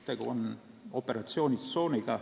Tegu on operatsioonitsooniga.